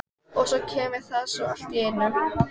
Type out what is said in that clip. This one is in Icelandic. Og svo kemur það svona allt í einu.